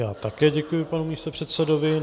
Já také děkuji panu místopředsedovi.